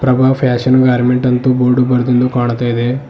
Prabha fashion garment ಅಂತು board ಬರ್ದಿಂದು ಕಾಣ್ತಾ ಇದೆ.